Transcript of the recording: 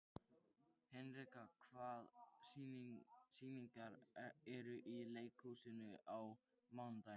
Hinrika, hvaða sýningar eru í leikhúsinu á mánudaginn?